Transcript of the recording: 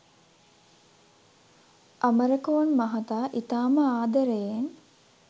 අමරකෝන් මහතා ඉතාම ආදරෙයෙන්